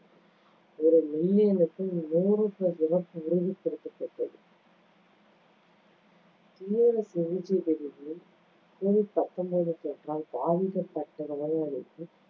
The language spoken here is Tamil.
ஒரு million க்கு நூறு இறப்பு உறுதிப்படுத்தப்பட்டது. covid பத்தொன்பது தொற்றால் பாதிக்கப்பட்டவர்களுக்கு